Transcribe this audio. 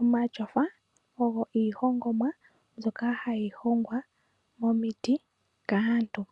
Omatyofa ogo iihongomwa mbyoka hayi hongwa momiti kaantu.